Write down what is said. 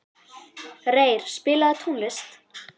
Reyr, spilaðu tónlist.